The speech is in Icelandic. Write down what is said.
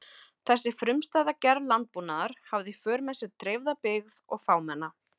Þessi frumstæða gerð landbúnaðar hafði í för með sér dreifða byggð og fámenna.